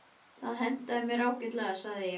Það hentaði mér ágætlega, sagði ég.